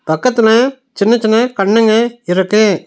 பக்கத்துல சின்ன சின்ன கண்ணுங்க இருக்கு.